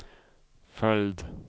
följd